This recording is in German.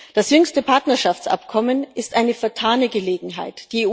Das jüngste Partnerschaftsabkommen ist eine vertane Gelegenheit.